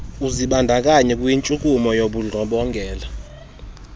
uzibandakanya kwintshukumo yobundlobongela